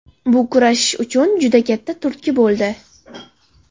Bu kurashish uchun juda katta turtki bo‘ldi.